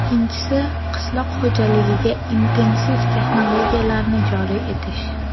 Ikkinchisi, qishloq xo‘jaligiga intensiv texnologiyalarni joriy etish.